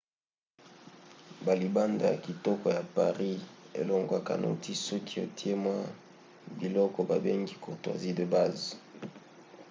balibanda ya kitoko ya paris elongwaka noki soki otie mwa biloko babengi courtoisies de base